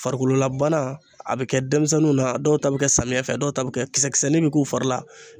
Farikolo labana a bɛ kɛ denmisɛnninw na, dɔw ta bɛ kɛ samiyɛ fɛ , dɔw ta bɛ kɛ kisɛ kisɛnin bɛ k'u fari la .